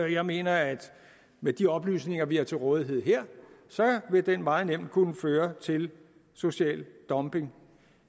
jeg mener at med de oplysninger vi har til rådighed her vil den meget nemt kunne føre til social dumping